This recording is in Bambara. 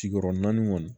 Sigiyɔrɔ naani kɔni